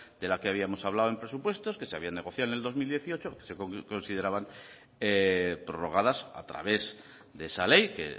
de las que habíamos hablado en presupuestos que se habían negociado en el dos mil dieciocho se consideraban prorrogadas a través de esa ley que